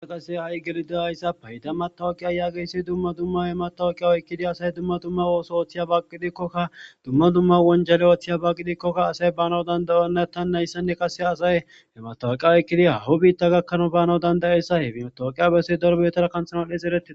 Asa qasse ha'i gelida hayssa payda matawuqiya yaageyssi dumma dumma ematawuqiya oykkidi asay dumma dumma wooso ooththiya bagqidikkokka dumma dumma wonjale ooththiya bagqidikkokka asay baanao dandayonna tan nayssanne qase asay hematawoqiya oykkidi hawu biitta gakkana baanaw dandayeyssa hefinotooqiya bessi dorbeetora kanthanan his ereti.